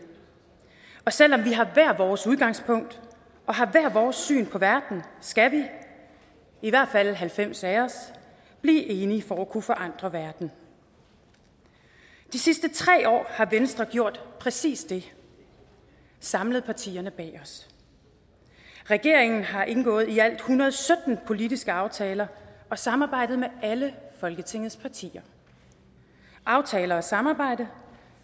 og selv om vi har hvert vores udgangspunkt og har hvert vores syn på verden skal vi i hvert fald halvfems af os blive enige for at kunne forandre verden de sidste tre år har venstre gjort præcis det samlet partierne bag os regeringen har indgået i alt en hundrede og sytten politiske aftaler og samarbejdet med alle folketingets partier aftaler og et samarbejde